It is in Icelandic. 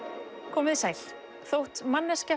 komið þið sæl þótt manneskja